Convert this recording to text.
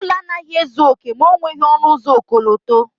Ụlọ anaghị ezu oke ma o nweghị ọnụ ụzọ ọkọlọtọ.